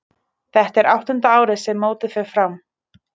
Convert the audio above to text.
Þetta er áttunda árið sem mótið fer fram.